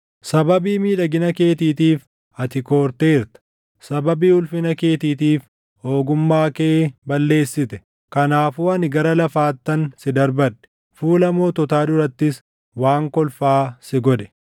Sababii miidhagina keetiitiif, ati koorteerta; sababii ulfina keetiitiif, ogummaa kee balleessite. Kanaafuu ani gara lafaattan si darbadhe; fuula moototaa durattis waan kolfaa si godhe.